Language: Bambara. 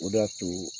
O de y'a to